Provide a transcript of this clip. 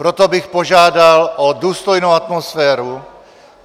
Proto bych požádal o důstojnou atmosféru.